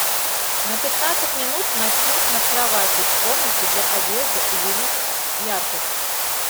на пятнадцать минут ночник над кроватью в комнате для одежды увеличь яркость